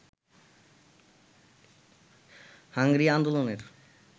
hungry আন্দোললের